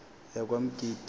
yakwamgidi